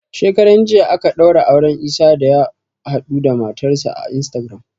Shekaran jiya aka ɗaura auren Isah da ya haɗuda matar sa a Instagram